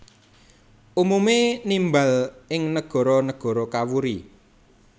Umume nimbal ing negara negara kawuri